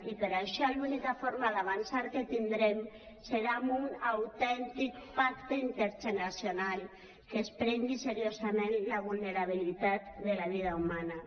i per això l’única forma d’avançar que tindrem serà amb un autèntic pacte intergeneracional que es prengui seriosament la vulnerabilitat de la vida humana